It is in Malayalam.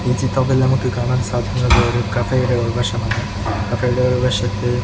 ഈ ചിത്രത്തിൽ നമുക്ക് കാണാൻ സാധിക്കുന്നത് ഒരു കഫേയുടെ ഉൾവശമാണ് കഫെയുടെ ഉൾവശത്ത്--